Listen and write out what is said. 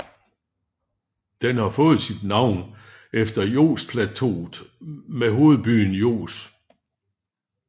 Den har fået sit navn efter Josplateauet med hovedbyen Jos